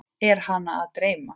Er hana að dreyma?